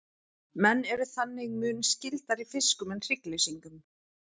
menn eru þannig mun skyldari fiskum en hryggleysingjum